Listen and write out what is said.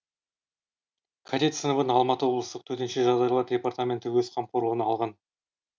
кадет сыныбын алматы облыстық төтенше жағдайлар департаменті өз қамқорлығына алған